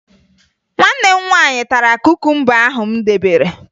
Nwanne m nwaanyị tara kukumba ahụ m debere